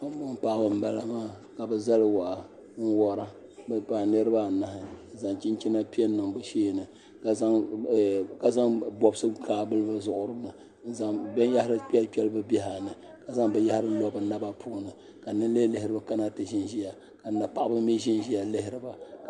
Daani n bala maa ka bi zali waa n wora bi paai niraba anahi n zaŋ chinchina piɛ n niŋ bi sheeni ka zaŋ bobsi n kaai vuli bi zuɣuri na n zaŋ binyahari kpɛli kpɛli bi biɛha ni ka zaŋ binyahari lo bi naba puuni ka ninlihi lihiriba kana ti ʒinʒiya ka na paɣaba mii ʒiya lihiriba